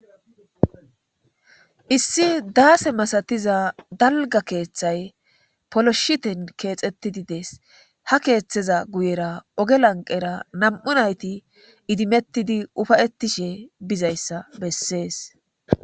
issi daase masatiza dalga keeththay poloshiten keexettidi dees ha keeththeza guyera oge lanqera nam7u nayti idimettidi ufayettishe bizayssa bessees